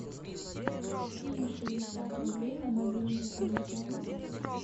кинь шестьдесят рублей на мобильный телефон